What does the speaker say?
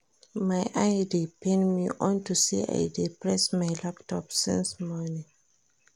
My eye dey pain me unto say I dey press my laptop since morning